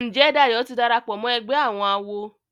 Njé Dayo tí darapọ̀ mọ ègbé àwọn àwo?